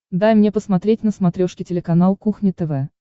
дай мне посмотреть на смотрешке телеканал кухня тв